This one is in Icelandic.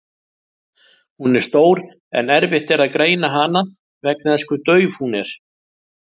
Hún er stór en erfitt er að greina hana vegna þess hve dauf hún er.